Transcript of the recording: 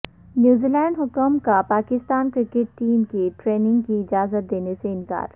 New Zealand حکام کا Pakistan cricket team کو ٹریننگ کی اجازت دینے سے انکار